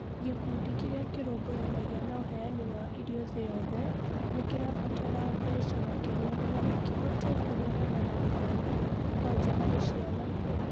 gikundi kĩria kĩrũmbuyanagia na ũheani wa irio thĩ yothe, nĩkĩrabatara mbeca makĩria nĩgetha kĩhote kũhũrana na ng'aragu kwanja harĩ ciana